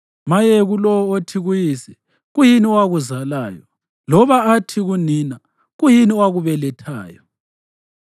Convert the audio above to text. Maye kulowo othi kuyise, ‘Kuyini owakuzalayo?’ loba athi kunina, ‘Kuyini owakubelethayo?’